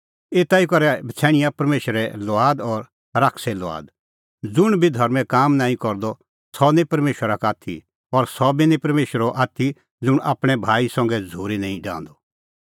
एता ई करै बछ़ैणियां परमेशरे लुआद और शैताने लुआद ज़ुंण बी धर्में काम नांईं करदअ सह निं परमेशरा का आथी और सह बी निं परमेशरो आथी ज़ुंण आपणैं भाई संघै झ़ूरी निं डाहंदअ